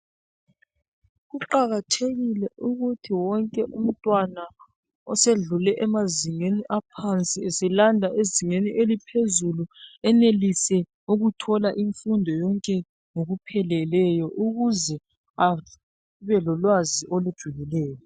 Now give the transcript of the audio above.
Kuqakathekile ukuthi wonke umntwana osedlule emazingeni aphansi eselanda ezingeni eliphezulu enelise ukuthola imfundo yonke ngokupheleleyo ukuze a elolwazi olujulileyo.